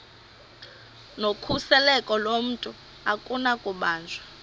nokhuseleko lomntu akunakubanjwa